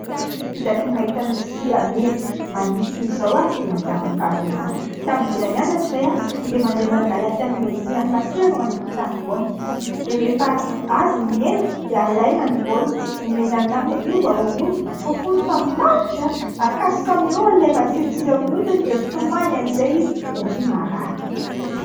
Isaky ny mahita lodisia mena maniry toy izao aho dia mahatsiaro ny fahazazana. Tamin'ny mbola nianatra izahay dia mandeha mangalatra ny lodisian'i Masera ao an-tokontany foana. Dia rehefa azo ny mena dia alaina ny voany dia omena ny namana hoe io mba horoy, fofony fa manitra ! Akasoka amin'ny orony ilay matsilotsilo eo amin'ny hodiny dia mitomany amin'izay izy satria marary.